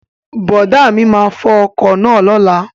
Brọ̀dá mi máa fo ọkọ̀ náà lóla